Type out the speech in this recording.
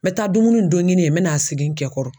N bɛ taa dumuni don ɲini ye n bɛ n'a segin n kɛ kɔrɔ.